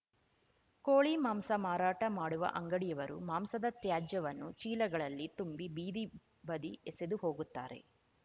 ಕೋಳಿ ಮಾಂಸ ಮಾರಾಟ ಮಾಡುವ ಅಂಗಡಿಯವರು ಮಾಂಸದ ತ್ಯಾಜ್ಯವನ್ನು ಚೀಲಗಳಲ್ಲಿ ತುಂಬಿ ಬೀದಿ ಬದಿ ಎಸೆದು ಹೋಗುತ್ತಾರೆ